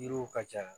Yiriw ka ja